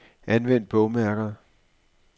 Anvend bogmærker.